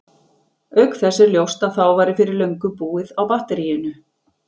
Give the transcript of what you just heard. Auk þess er ljóst að þá væri fyrir löngu búið á batteríinu!